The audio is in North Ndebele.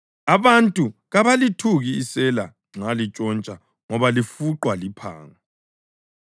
Abantu kabalithuki isela nxa lintshontsha ngoba lifuqwa liphango.